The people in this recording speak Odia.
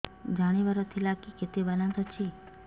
ଜାଣିବାର ଥିଲା କି କେତେ ବାଲାନ୍ସ ଅଛି